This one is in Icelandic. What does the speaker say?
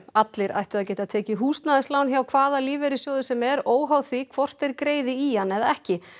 allir ættu að geta tekið húsnæðislán hjá hvaða lífeyrissjóði sem er óháð því hvort þeir greiði í hann eða ekki